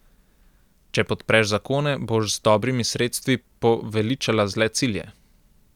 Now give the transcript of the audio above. Če podpreš zakone, boš z dobrimi sredstvi poveličala zle cilje.